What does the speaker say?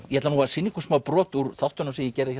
ég ætla nú að sýna ykkur brot úr þáttunum sem ég gerði